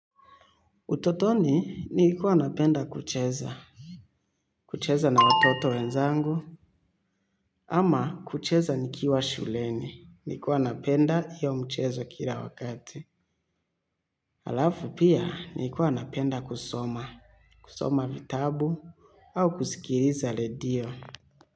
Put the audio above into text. Utotoni, niikuwa napenda kucheza, kucheza na watoto wenzangu, ama kucheza nikiwa shuleni, nilikuwa napenda hiyo michezo kila wakati. Halafu pia niikuwa napenda kusoma, kusoma vitabu au kusikiliza radio.